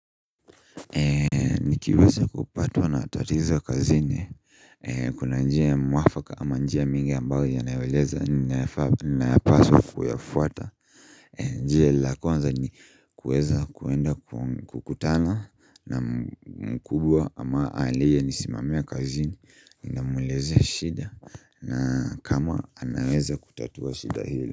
Ee nikiweza kupatuwa na tatizwa kazine ee kuna njia ya mwafaka ama njia mingi ambayo ya naeweleza ni naeweleza ni nae paswa kuyafuata ee njia la konza ni kueza kuenda kukutana na mkubwa ama aliye ni simamia kazini nina mweleza shida na kama anaweza kutatuwa shida hili.